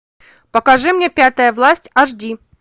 покажи мне пятая власть аш ди